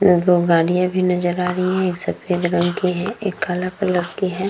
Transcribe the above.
दो गाड़िया भी नज़र आ रही है। एक सफेद रंग की है एक काला कलर की है।